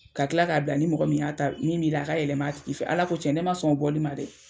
Ka kila ka bila ni mɔgɔ min y'a ta, min b'i la a ka yɛlɛma a tigi fɛ. Ala ko tiɲɛ ne ma sɔn o bɔli ma dɛ!